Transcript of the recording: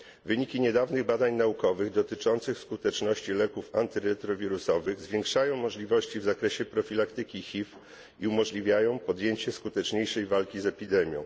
Wyniki niedawnych badań naukowych dotyczących skuteczności leków antyretrowirusowych zwiększają możliwości w zakresie profilaktyki HIV i umożliwiają podjęcie skuteczniejszej walki z epidemią.